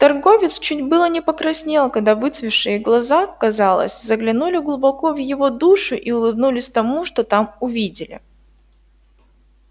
торговец чуть было не покраснел когда выцветшие глаза казалось заглянули глубоко в его душу и улыбнулись тому что там увидели